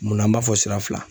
Munna an b'a fɔ sira fila?